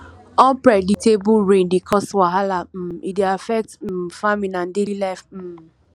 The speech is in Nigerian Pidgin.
unpredictable rain dey cause wahala um e dey affect um farming and daily life um